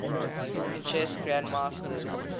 chess grandmasters